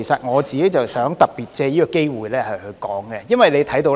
我想特別藉此機會談談這方面。